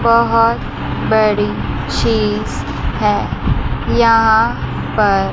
बहुत बड़ी चीज है यहां पर --